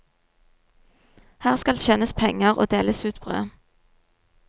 Her skal tjenes penger og deles ut brød.